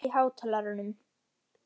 Elvis, hækkaðu í hátalaranum.